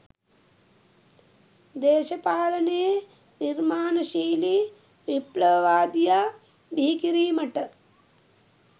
දේශපාලනයේ නිර්මාණශීලී විප්ලවවාදියා බිහිකිරීමට